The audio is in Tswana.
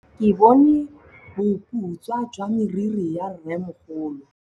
Ke bone boputswa jwa meriri ya rrêmogolo.